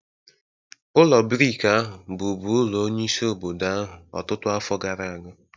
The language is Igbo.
Ụlọ brik ahụ bụbu ulo onyeisi obodo ahụ ọtụtụ afọ gara aga.